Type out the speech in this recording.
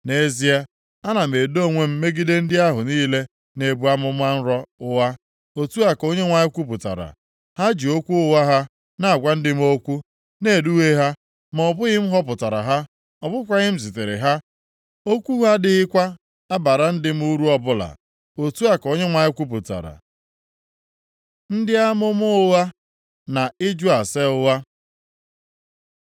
Nʼezie, ana m edo onwe m megide ndị ahụ niile na-ebu amụma nro ụgha.” Otu a ka Onyenwe anyị kwupụtara. “Ha ji okwu ụgha ha na-agwa ndị m okwu, na-eduhie ha, ma ọ bụghị m họpụtara ha. Ọ bụkwaghị m zitere ha. Okwu ha adịghịkwa abara ndị m uru ọbụla.” Otu a ka Onyenwe anyị kwupụtara. Ndị amụma ụgha na ịjụ ase ụgha.